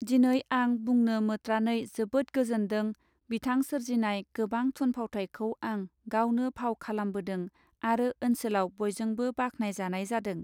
दिनै आं बुंनो मोत्रानै जोबोद गोजोन्दों बिथां सोरजिनाय गोबां थुन फावथायखौ आं गावनो भाव खालामबोदों आरो ओनसोलाव बयजोंबो बाख्नाय जानाय जादों.